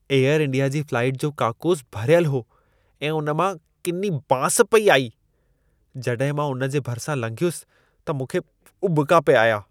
Air India जी flight जो काकूस भरियल हो ऐं उन मां किनी बांस पिए आई। जॾहिं मां उन जे भरिसां लंघियुसि, त मूंखे उॿिका पिए आया।